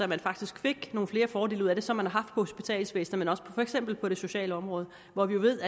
man faktisk fik nogle flere fordele ud af det som man har haft hospitalsvæsenet men også for eksempel på det sociale område hvor vi ved